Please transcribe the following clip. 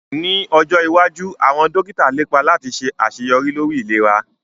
Ní ọjọ́ iwájú àwọn dókítà lépa láti ṣe àṣeyọrí lórí ìlera